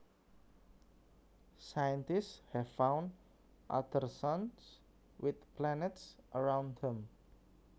Scientists have found other suns with planets around them